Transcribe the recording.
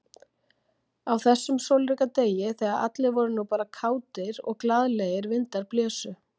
Á þessum sólríka degi, þegar allir voru nú bara kátir, og glaðlegir vindar blésu.